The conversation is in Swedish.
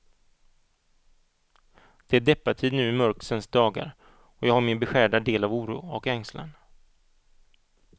Det är deppartid nu i mörksens dagar, och jag har min beskärda del av oro och ängslan.